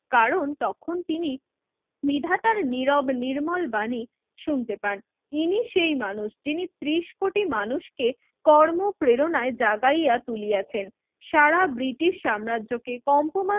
কারণ তখন তিনি নিধাতার নীরব নির্মল বাণী শুনতে পান। ইনি সেই মানুষ যিনি ত্রিশ কোটি মানুষকে কর্ম প্রেরণায় জাগাইয়া তুলিয়াছেন সারা ব্রিটিশ সাম্রাজকে কম্পমান